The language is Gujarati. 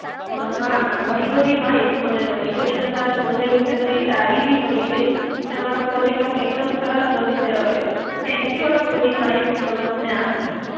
અ ના ના, ઘણી બધી માહિતી મને મલી ગઈ. અને મારા પ્રોજેક્ટ વિશે બધી સારી બી મલી ગઈ. ને મારો પ્રોજેક્ટ આમ એક દમ સરસ બનશે હવે. થૅન્ક યુ આટલી બધી માહિતી તમે મને આપી.